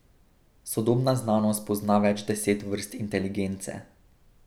Sodobna znanost pozna več deset vrst inteligence.